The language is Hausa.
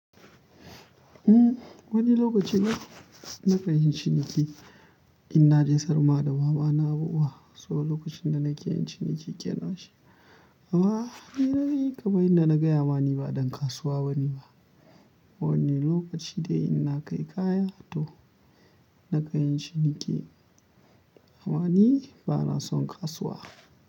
Uhm, wani lokaci na, na ka yin ciniki in na je sarma da mama na abu wa. Saboda lokacin da na ke yin ciniki ke na shi. Haba! Ni na yi, kamar inda na gaya ma ni ba don kasuwa ba ni ba. Wani lokaci dai in na kai kaya to, na kan yin ciniki. Amma ni ba na son kasuwa.